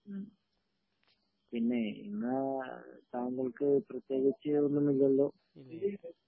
ഹ്ം പിന്നെ എന്നാൽ താങ്കൾക്ക് പ്രത്യേകിച്ച് ഒന്നും ഇല്ലല്ലോ